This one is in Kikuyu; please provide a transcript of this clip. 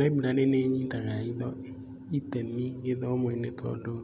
library nĩ inyitaga itemi gĩthomo-inĩ tondũ